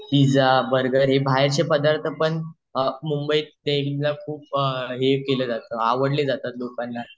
pizza burger हे बाहेरचे पदार्थ पण मुंबई प्रेमिला खुप हे केले जातं खुप आवडलं जात लोकांना